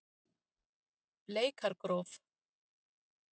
Bleikargróf